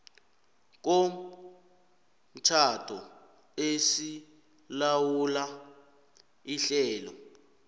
komtjhado esilawula ihlelo